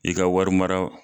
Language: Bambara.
I ka wari mara